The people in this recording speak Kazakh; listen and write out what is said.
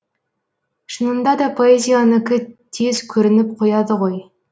шынында да поэзияныкі тез көрініп қояды ғой